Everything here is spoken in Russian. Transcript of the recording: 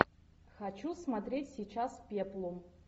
хочу смотреть сейчас пеплум